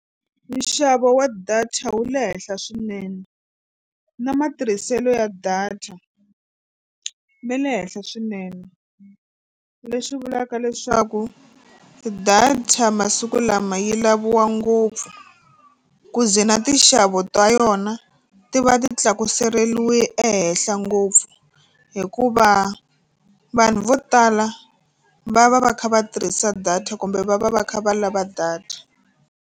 Nxavo wa data wu le henhla swinene na matirhiselo ya data me le henhla swinene leswi vulaka leswaku data masiku lama yi laviwa ngopfu ku ze na tinxavo ta yona ti va ti tlakuseriwe ehenhla ngopfu hikuva vanhu vo tala va va va kha va tirhisa data kumbe va va va kha va lava data.